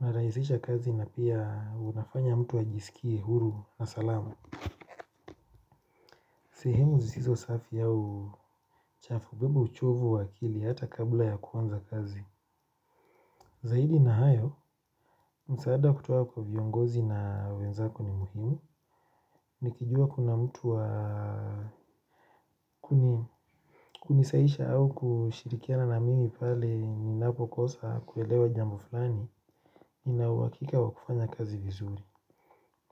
Narahisisha kazi na pia unafanya mtu ajisikie huru na salama. Sehemu zisizo safi au chafu ubeba uchovu wa akili hata kabla ya kuanza kazi. Zaidi na hayo, msaada kutoka kwa viongozi na wenzako ni muhimu, nikijua kuna mtu wa kunisaisha au kushirikiana na mimi pale ninapokosa kuelewa jambo falani, ninauwakika wa kufanya kazi vizuri.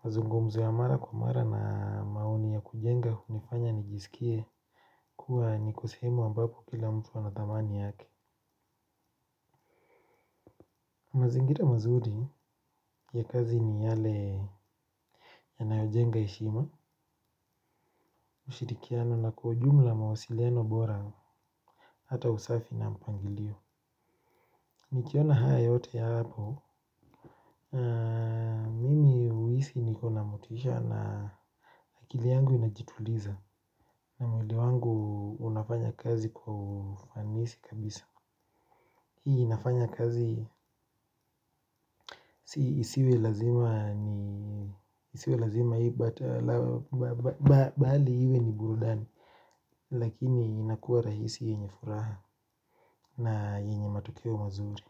Mazungomzo ya mara kwa mara na maoni ya kujenga unifanya nijisikie kuwa niko sehemu ambapo kila mtu ana dhamani yake. Mazingira mazuli ya kazi ni yale yanayojenga heshima. Ushirikiano na kwa ujumla mawasiliano bora. Hata usafi na mpangilio. Nikiona haya yote ya hapo mimi huisi niko na motisha na akili yangu inajituliza na mwili wangu unafanya kazi kwa ufanisi kabisa. Hii inafanya kazi isiwe lazima isiwe lazima hii but bali iwe ni burudani lakini inakuwa rahisi yenye furaha na yenye matokeo mazuri.